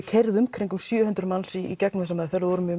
keyra í kringum sjö hundruð manns í gegnum þessa meðferð og vorum með